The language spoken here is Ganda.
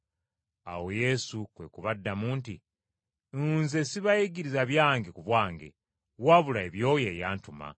Awo Yesu kwe kubaddamu nti, “Nze sibayigiriza byange ku bwange, wabula eby’oyo eyantuma.